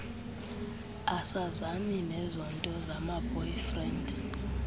asazani nezonto zamaboyfriend